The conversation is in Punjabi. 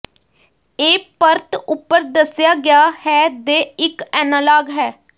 ਇਹ ਪਰਤ ਉਪਰ ਦੱਸਿਆ ਗਿਆ ਹੈ ਦੇ ਇੱਕ ਐਨਾਲਾਗ ਹੈ